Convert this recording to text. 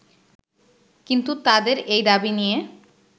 কিন্তু তাদের এই দাবি নিয়ে